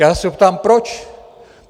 Já se ho ptám proč.